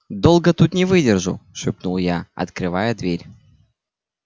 долго тут не выдержу шепнул я открывая дверь